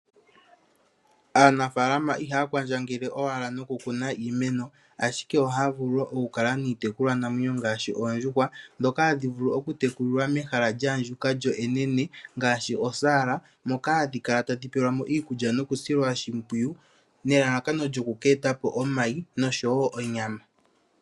Aanafaalama ihaya kwandjangele owala nokukuna iimeno, ashike ohaya vulu woo oku kala niitekulwa namwenyo ngaashi oondjuhwa ndhoka hadhi vulu okutekulilwa mehala lya andjuka lyo enene ngaashi osaala, moka hadhi kala tadhi pelwa mo iikulya nokusilwa oshimpwiyu nelalakano lyoku eta po omayi nosho wo onyama .